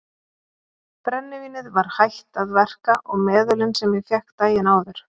Brennivínið var hætt að verka og meðölin sem ég fékk daginn áður.